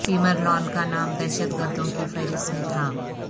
Tamerlan کا نام دہشت گردوں کی فہرست میں تھا